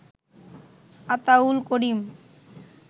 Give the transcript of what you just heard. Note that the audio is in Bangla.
আতাউল করিম